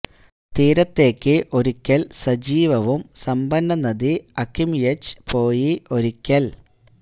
അവർ തീരത്തേയ്ക്ക് ഒരിക്കൽ സജീവവും സമ്പന്ന നദി അകിമ്യ്ഛ് പോയി ഒരിക്കൽ